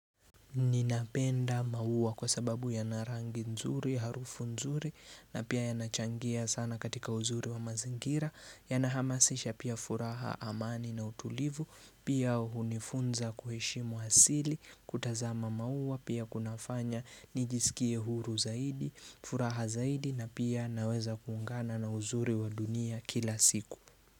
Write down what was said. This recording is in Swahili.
Ninapenda maua kwa sababu yana rangi nzuri, harufu nzuri, na pia yanachangia sana katika uzuri wa mazingira, yanahamasisha pia furaha amani na utulivu, pia hunifunza kuheshimu asili, kutazama maua, pia kunafanya, nijisikie huru zaidi, furaha zaidi, na pia naweza kuungana na uzuri wa dunia kila siku.